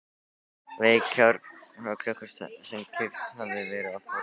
vekjaraklukku sem keypt hafði verið á fornsölu.